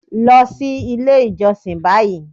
Lọ sí ilé ìjọsìn báyìí